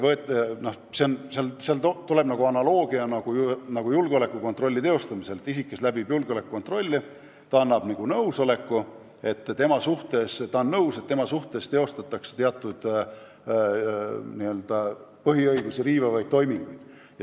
Analoogiliselt toimib julgeolekukontroll: isik, kes läbib julgeolekukontrolli, annab nõusoleku, et ta on nõus, et tema suhtes teostatakse teatud põhiõigusi riivavaid toiminguid.